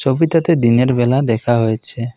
ছবিটাতে দিনের বেলা দেখা হয়েছে।